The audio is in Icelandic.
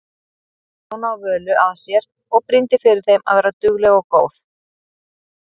Stjána og Völu að sér og brýndi fyrir þeim að vera dugleg og góð.